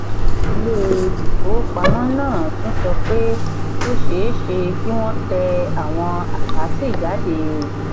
ilé ìfowópamọ́ náà tún sọ pé ó ṣe é ṣe kí wọ́n tẹ àwọn àkátì jáde.